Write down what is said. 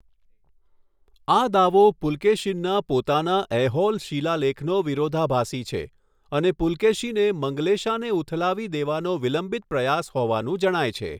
આ દાવો પુલકેશીનના પોતાના ઐહોલ શિલાલેખનો વિરોધાભાસી છે, અને પુલકેશીને મંગલેશાને ઉથલાવી દેવાનો વિલંબિત પ્રયાસ હોવાનું જણાય છે.